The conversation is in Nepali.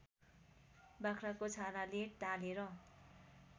बाख्राको छालाले टालेर